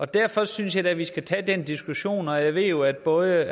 derfor synes jeg da vi skal tage den diskussion og jeg ved jo at både